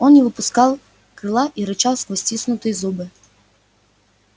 он не выпускал крыла и рычал сквозь стиснутые зубы